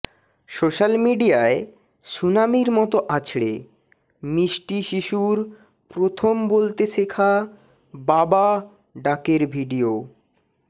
social মিডিয়ায় সুনামির মত আছড়ে মিষ্টি শিশুর প্রথম বলতে শেখা বাবা ডাকের ভিডিও